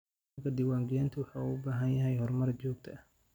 Nidaamka diiwaangelintu wuxuu u baahan yahay horumar joogto ah.